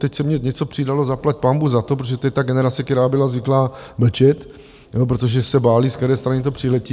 teď se mi něco přidalo, zaplať pánbůh za to, protože to je ta generace, která byla zvyklá mlčet, protože se bály, z které strany to přiletí.